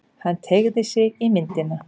Hann teygði sig í myndina.